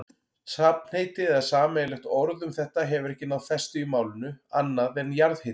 Safnheiti eða sameiginlegt orð um þetta hefur ekki náð festu í málinu, annað en jarðhiti.